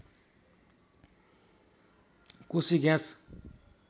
Koshi gas